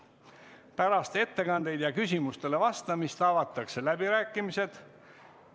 Pärast ettekandeid ja küsimustele vastamist avatakse läbirääkimised.